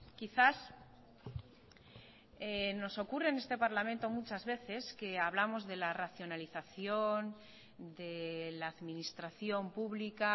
quizás nos ocurre en este parlamento muchas veces que hablamos de la racionalización de la administración pública